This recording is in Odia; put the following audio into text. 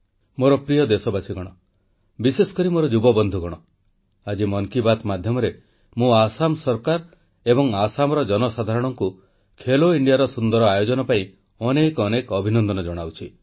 ମୋର ପ୍ରିୟ ଦେଶବାସୀଗଣ ବିଶେଷକରି ମୋର ଯୁବବନ୍ଧୁଗଣ ଆଜି ମନ୍ କୀ ବାତ୍ ମାଧ୍ୟମରେ ମୁଁ ଆସାମ ସରକାର ଏବଂ ଆସାମର ଜନସାଧାରଣଙ୍କୁ ଖେଲୋ ଇଣ୍ଡିଆର ସୁନ୍ଦର ଆୟୋଜନ ପାଇଁ ଅନେକ ଅନେକ ଅଭିନନ୍ଦନ ଜଣାଉଛି